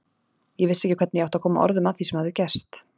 Ég vissi ekki hvernig ég átti að koma orðum að því sem hafði gerst.